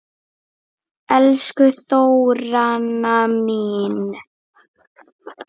Elsku Þóranna mín.